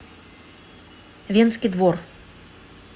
венский двор